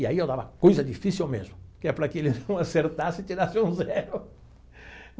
E aí eu dava coisa difícil mesmo, que é para que ele não acertasse e tirasse um zero.